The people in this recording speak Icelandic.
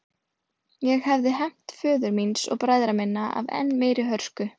Ég hefði hefnt föður míns og bræðra minna af enn meiri hörku.